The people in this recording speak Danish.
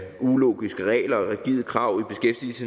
ulogiske regler og rigide krav